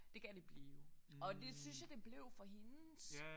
Det kan det blive og det synes jeg det blev for hendes